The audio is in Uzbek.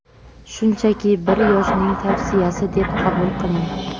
shunchaki bir yoshning tavsiyasi deb qabul qiling.